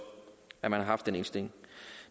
at man har den indstilling